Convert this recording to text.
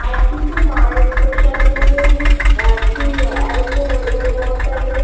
তারাপীঠে মায়ের প্রসাদে নাকি ওই আহ কি alchol মানে মদ টায়